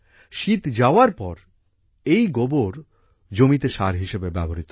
শীত যাওয়ার পর এই গোবর জমিতে সার হিসেবে ব্যবহৃত হয়